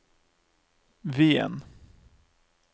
Wien